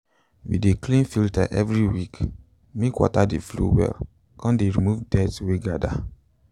we de clean filter every week mske water de flow well con de remove dirt wey gather